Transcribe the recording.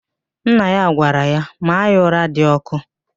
Nna ya gwara ya, maa ya ụra dị ọkụ!